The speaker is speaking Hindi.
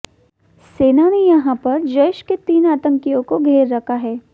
सेना ने यहां पर जैश के तीन आतंकियों को घेर रखा है